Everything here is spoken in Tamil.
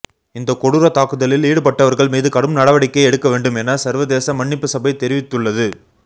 இந்தக் கொடூர தாக்குதலில் ஈடுபட்டவர்கள் மீது கடும் நடவடிக்கை எடுக்க வேண்டும் என சர்வதேச மன்னிப்புசபை தெரிவித்துள்ளது